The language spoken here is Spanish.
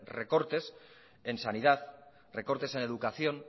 recortes en sanidad recortes en educación